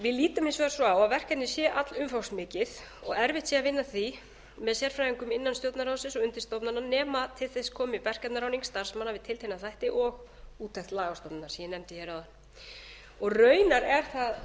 við lítum hins vegar svo á að verkefnið sé allumfangsmikið og erfitt sé að vinna að því með sérfræðingum innan stjórnarráðsins og undirstofnana nema til þess komi verkefnaráðning starfsmanna starfsmanna við tiltekna þætti og úttekt lagastofnunar sem ég nefndi áðan raunar er kveðið á um